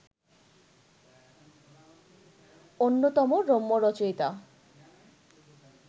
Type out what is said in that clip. অন্যতম রম্যরচয়িতা